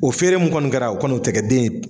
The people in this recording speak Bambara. O feere min kɔni kɛra o kɔni o tɛ kɛ den ye